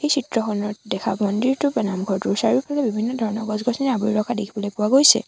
চিত্ৰখনত দেখা মন্দিৰটো বা নামঘৰটোৰ চাৰিওফালে বিভিন্ন ধৰণৰ গছ-গছনিৰে আৱৰি ৰখা দেখাবলৈ পোৱা গৈছে।